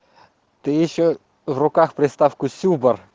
ты ещё в руках приставку сюбар